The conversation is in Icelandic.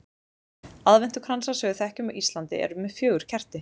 aðventukransar sem við þekkjum á íslandi eru með fjögur kerti